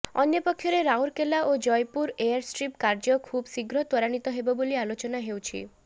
ଅନ୍ୟପକ୍ଷରେ ରାଉରକେଲା ଓ ଜୟପୁର ଏୟାରଷ୍ଟ୍ରିପ କାର୍ଯ୍ୟ ଖୁବ ଶୀଘ୍ର ତ୍ୱାରାନିତ ହେବବୋଲି ଆଲୋଚନା ହୋଇଛି